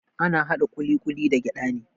Ana haɗa ƙuliƙuli da gyada ne.